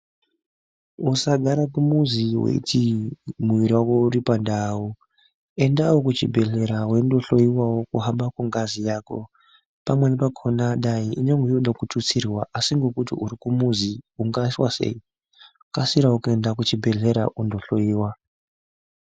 Usagara kumuzi weiti mwiri wako uri pandau. Endawo kuchibhehlera weindohlowiwa kuhamba kwengazi yako, pamweni pakhona dai inoda kututsirwa asi ngekuti uri kumuzi ungaiswa sei. Kasirawo kuenda kuchibhehlera undohlowiwa.